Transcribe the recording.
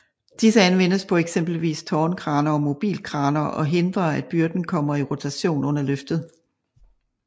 Disse anvendes på eksempelvis tårnkraner og mobilkraner og hindrer at byrden kommer i rotation under løftet